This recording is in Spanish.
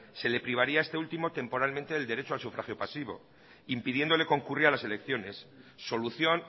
se le privaría a este último temporalmente del derecho al sufragio pasivo impidiéndole concurrir a las elecciones solución